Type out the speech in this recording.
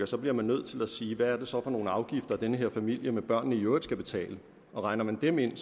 så bliver nødt til at sige hvad er det så for nogle afgifter den her familie med børnene i øvrigt skal betale og regner man dem ind